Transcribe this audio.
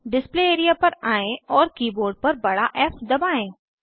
display area पर आएं और कीबोर्ड पर बड़ा फ़ दबाएं